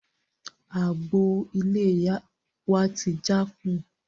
Àgbò iléyá wá ti jákùn